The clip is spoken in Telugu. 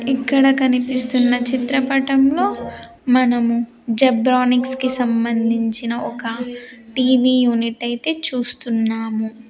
ఇక్కడ కనిపిస్తున్న చిత్రపటంలో మనము జెబ్రానిక్స్ కి సంబంధించిన ఒక టీ_వీ యూనిట్ అయితే చూస్తున్నాము.